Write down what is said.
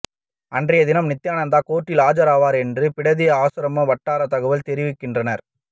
அன்றைய தினம் நித்யானந்தா கோர்ட்டில் ஆஜராவார் என்று பிடதி ஆசிரம வட்டார தகவல்கள் தெரிவிக்கின்றன